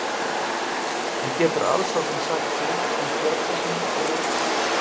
En getur aðsóknin sagt til um kjörsóknina á laugardaginn?